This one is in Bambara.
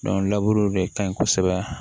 laburu de ka ɲi kosɛbɛ